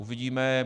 Uvidíme.